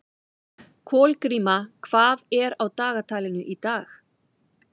Kolgríma, hvað er á dagatalinu í dag?